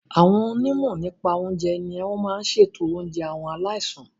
Àwọn onímọ̀ nípa oúnjẹ ní o máa n ṣètò oúnjẹ àwọn aláìsàn.